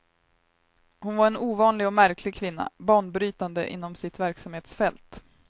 Hon var en ovanlig och märklig kvinna, banbrytande inom sitt verksamhetsfält.